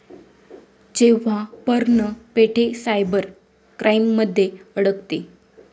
जेव्हा पर्ण पेठे सायबर क्राइममध्ये अडकते...